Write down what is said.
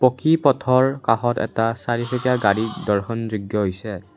পকী পথৰ কাষত এটা চাৰিচকীয়া গাড়ী দৰ্শন যোগ্য হৈছে।